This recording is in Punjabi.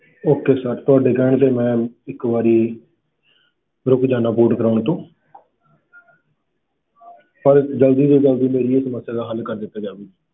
Okay sir ਤੁਹਾਡੇ ਕਹਿਣ ਤੇ ਮੈਂ ਇੱਕ ਵਾਰੀ ਰੁਕ ਜਾਨਾ port ਕਰਵਾਉਣ ਤੋਂ ਪਰ ਜ਼ਲਦੀ ਤੋਂ ਜ਼ਲਦੀ ਮੇਰੀ ਇਹ ਸਮੱਸਿਆ ਦਾ ਹੱਲ ਕਰ ਦਿੱਤਾ ਜਾਵੇ।